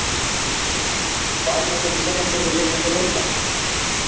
Er Gylfi vanmetinn í samanburði við þessa leikmenn?